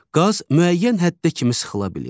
Qaz müəyyən həddə kimi sıxıla bilir.